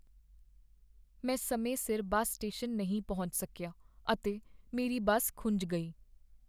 ਮੈਂ ਸਮੇਂ ਸਿਰ ਬੱਸ ਸਟੇਸ਼ਨ ਨਹੀਂ ਪਹੁੰਚ ਸਕੀਆ ਅਤੇ ਮੇਰੀ ਬੱਸ ਖੁੰਝ ਗਈ।